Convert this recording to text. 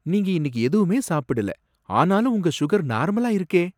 நீங்க இன்னிக்கு எதுவுமே சாப்பிடல, ஆனாலும் உங்க உங்க சுகர் நார்மலா இருக்கே!